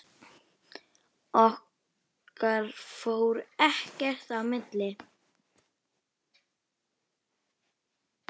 Okkar fór ekkert í milli.